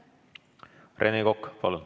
Rene Kokk, palun!